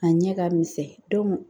A ɲɛ ka misɛn